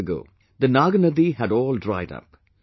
Years ago, the Naagnadi had all dried up